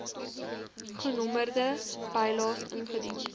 genommerde bylaes ingedien